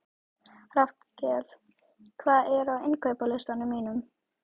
Rafnkell, hvað er á innkaupalistanum mínum?